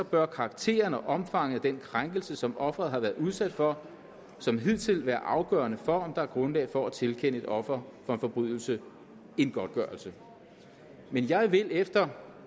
bør karakteren og omfanget af den krænkelse som ofret har været udsat for som hidtil være afgørende for der er grundlag for at tilkende et offer for en forbrydelse en godtgørelse jeg vil efter